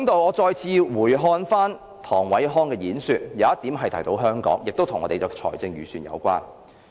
我再回看唐偉康的演辭，有一點提到香港，亦與我們的財政預算有關。